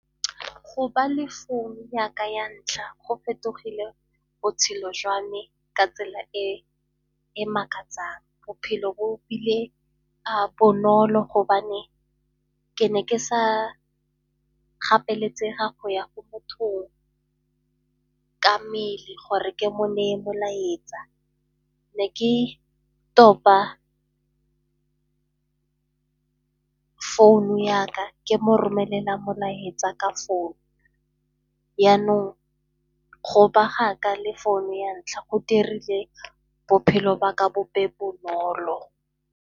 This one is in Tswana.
Go ba le founu yaka ya ntlha go fetogile botshelo jwa me ka tsela e e makatsang. Bophelo bo bile bonolo gobane ke ne ke sa gapeletsega go ya ko mothong ka mmele gore ke mo neye molaetsa. Ne ke topa founu ya ka ke mo romelela molaetsa ka founu, yanong go ba ga ka le phone ya ntlha go dirile bophelo ba ka bo be bonolo.